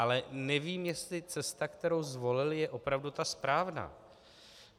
Ale nevím, jestli cesta, kterou zvolili, je opravdu ta správná.